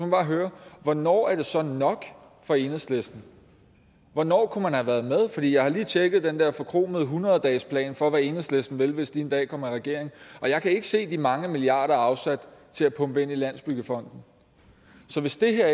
bare høre hvornår er det så nok for enhedslisten hvornår kunne man have været med for jeg har lige tjekket den der forkromede hundrede dagesplan for hvad enhedslisten vil hvis de en dag kommer i regering og jeg kan ikke se de mange milliarder afsat til at pumpe ind i landsbyggefonden så hvis det her